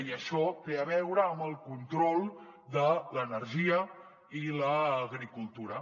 i això té a veure amb el control de l’energia i l’agricultura